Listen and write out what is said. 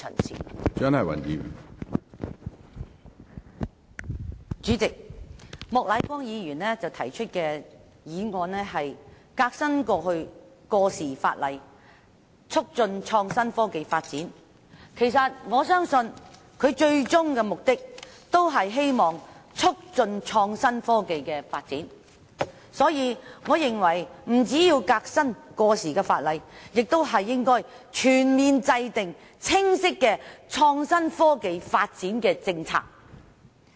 主席，莫乃光議員提出"革新過時法例，促進創新科技發展"的議案，我相信他最終的目的是希望促進創新科技的發展，所以，我認為不僅要革新過時的法例，亦應全面制訂清晰的創新科技發展政策。